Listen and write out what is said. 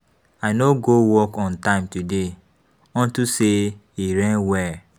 I no go work on time today unto say e rain well.